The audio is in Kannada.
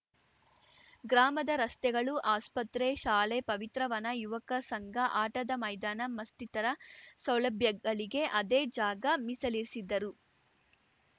ಗ್ರಾಮದ ರಸ್ತೆಗಳು ಆಸ್ಪತ್ರೆ ಶಾಲೆ ಪವಿತ್ರವನ ಯುವಕ ಸಂಘ ಆಟದ ಮೈದಾನ ಮಸ್ತಿತರ ಸೌಲಭ್ಯಗಳಿಗೆ ಅದೇ ಜಾಗ ಮೀಸಲಿರಿಸಿದ್ದರು